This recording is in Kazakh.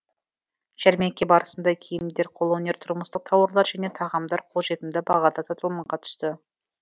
жәрмеңке барысында киімдер қолөнер тұрмыстық тауарлар және тағамдар қолжетімді бағада сатылымға түсті